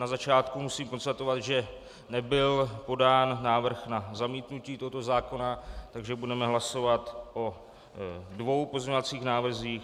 Na začátku musím konstatovat, že nebyl podán návrh na zamítnutí tohoto zákona, takže budeme hlasovat o dvou pozměňovacích návrzích.